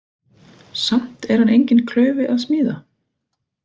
Samt er hann enginn klaufi að smíða.